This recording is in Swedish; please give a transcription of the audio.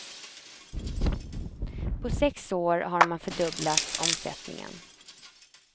På sex år har man fördubblat omsättningen.